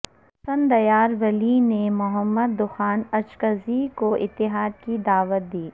اسفندیار ولی نے محمود خان اچکزئی کو اتحاد کی دعوت دی